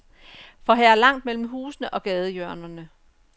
For her er langt mellem husene og gadehjørnerne.